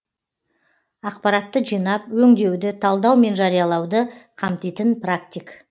ақпаратты жинап өңдеуді талдау мен жариялауды қамтитын практик